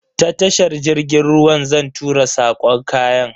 Ta tashar jirgin ruwa zan tura sako kayan.